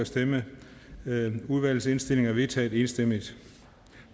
stemte nul udvalgets indstilling er vedtaget enstemmigt